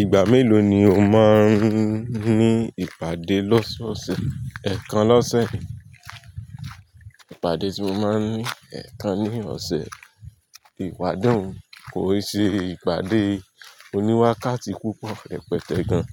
Ìgbà mélòó ni o máa ń ní ìpàdé lọ́sọ̀ọ̀sẹ̀? Ẹ̀ kan lọ́sẹ̀. Ìpàdé tí mo máa ń ní ẹ̀ kan ní ọ̀sẹ̀. Ipade un, kò e se ìpàdé oníwákàtí púpọ̀, rẹ pẹ̀tẹ̀ gan.